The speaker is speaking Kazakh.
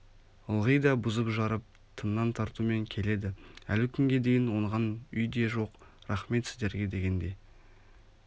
ылғи да бұзып-жарып тыңнан тартумен келеді әлі күнге дейін оңған үй де жоқ рахмет сіздерге дегенде